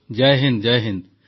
Jay Hind